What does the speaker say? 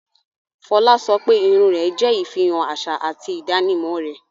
Fola ń sọ pé irun rẹ̀ jẹ́ ìfihàn àṣà àti ìdánimọ̀ rẹ̀